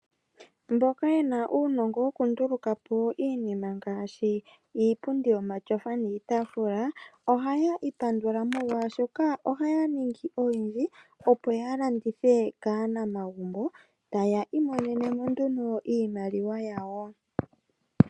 Mboka yena uunongo woku ndulukapo iinima ngaashi iipundi yomatyofa niitaafula ohaya ipandula molwaashoka ohaya ningi oyindji opo ya landithe kaanama gumbo taya imonenemo nduno iimaliwa yawo.